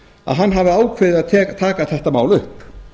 að hann hafi ákveðið að taka þetta mál upp